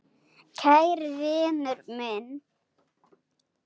Kæri vinur minn.